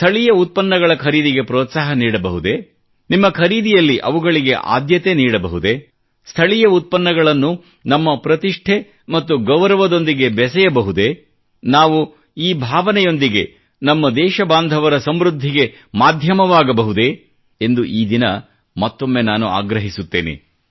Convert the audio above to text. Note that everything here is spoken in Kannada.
ಸ್ಥಳೀಯ ಉತ್ಪನ್ನಗಳ ಖರೀದಿಗೆ ಪ್ರೋತ್ಸಾಹ ನೀಡಬಹುದೆ ನಿಮ್ಮ ಖರೀದಿಯಲ್ಲಿ ಅವುಗಳಿಗೆ ಆದ್ಯತೆ ನೀಡಬಹುದೇ ಸ್ಥಳೀಯ ಉತ್ಪನ್ನಗಳನ್ನು ನಮ್ಮ ಪ್ರತಿಷ್ಠೆ ಮತ್ತು ಗೌರವದೊಂದಿಗೆ ಬೆಸೆಯಬಹುದೇ ನಾವು ಈ ಭಾವನೆಯೊಂದಿಗೆ ನಮ್ಮ ದೇಶಬಾಂಧವರ ಸಮೃದ್ಧಿಗೆ ಮಾಧ್ಯವಾಗಬಹುದೇ ಎಂದು ಈ ದಿನ ಮತ್ತೊಮ್ಮೆ ನಾನು ಆಗ್ರಹಿಸುತ್ತೇನೆ